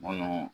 Bolo